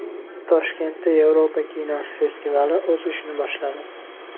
Toshkentda Yevropa kinosi festivali o‘z ishini boshladi.